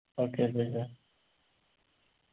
okay